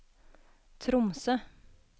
Tromsø